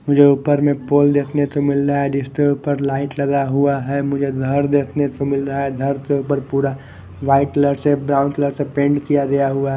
जो ऊपर में पोल देखने को मिल रहा है जिसके ऊपर लाइट लगा हुआ है मुझे घर देखने को मिल रहा है घर से ऊपर पूरा व्हाइट कलर से ब्राउन कलर से पेंट किया गया हुआ।